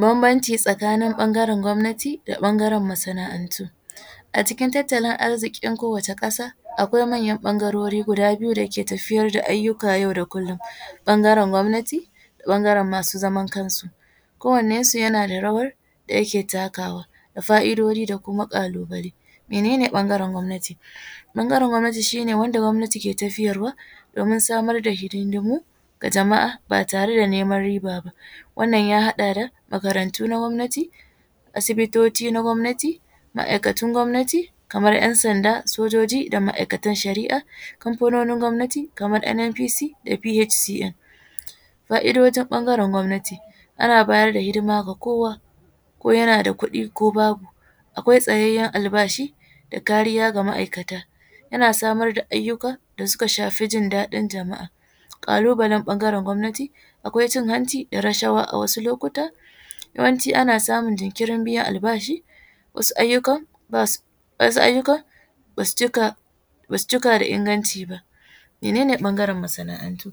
Banbanci tsakanin ɓangaren gwamnati da ɓangaren masana’antu, a cikin tattalin arzikin kowace kasa akwai manyan ɓangarori guda biyu dake tafiyar da ayyukan yau da kullum ɓangaren gwamnati da ɓangaren masu zaman kansu kowanan su yana da rawar da yake takawa da fa’idoji da kuma kalubale, mene ne ɓangaren gwamtani? ɓangaren gwamnati shi ne wanda gwamnati ke tafiyarwa domin samar da hidindumu ga jama’a ba tare da neman rib aba wannan ya haɗa da makarantu na gwamnati, Asibitoci na gwamnati, ma’aikatun gwamnati kamar ‘yan sanda, sojoji da ma’aikatan shari’a, kanfanonin gwamnati kamar NNPC da PHCN, fa’idojin ɓangaren gwamnati ana bayar da hidima ga kowa ko yana da kuɗi ko babu akwai tsayayen albashi da kariya ga ma’aikata, ana samar ga ayyuka da suka shafi jin daɗin jama’a, kalubalan gun gwamnati akwai cin hanci da rashawa a wasu lokuta, yawanci ana samun jinkirin biyan albashi, wasu ayyukan basu cika da inganci ba. Mene ne ɓangaren masana’antu?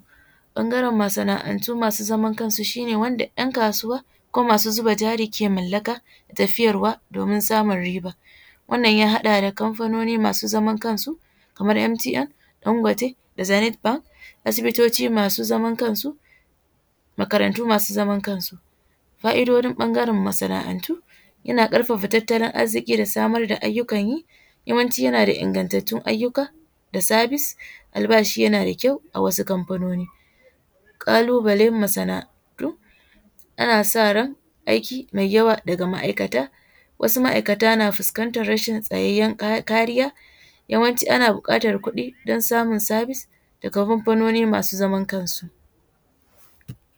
ɓangaren masana’antu masu zaman kansu shi ne wanda ɗan kasuwa ko masu zuba jari ke mallaka da tafiyarwa domin samun riba, wannan ya haɗa da kanfanoni masu zamar kansu kamar MTN, Dangote, da Zenith bank asibitoci masu zaman kansu, makarantu masu zamar kansu, fa’idojin ɓangaren masana’antu yana karfafa tattalin arziki da samar da ayyukan yi, yawanci yana da ingantatun ayyuka da service, albashi yana da kyau a wasu kamfanoni, kalubalen masana’antu ana sa ran aiki mai yawa daga ma’aikata, wasu ma’aikata na fuskantar rashin sayayyen kariya, yawanci ana bukatar kuɗi don samun service daga kamfanoni masu zamar kansu.